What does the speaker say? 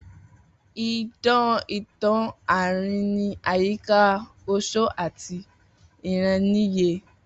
Idan itan aarin ni ayika oṣó ati ìráníyè.